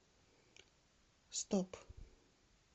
стоп